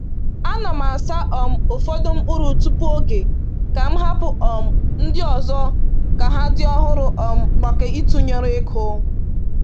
A na m asa um ụfọdụ mkpụrụ tupu oge, ka m hapụ um ndị ọzọ ka ha dị ọhụrụ um maka ịtụnyere ịkụ.